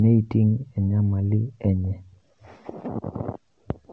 neiting' enyamali enye.